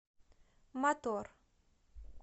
мотор